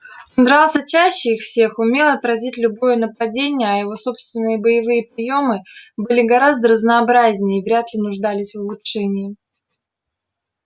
он дрался чаще их всех умел отразить любое нападение а его собственные боевые приёмы были гораздо разнообразнее и вряд ли нуждались в улучшении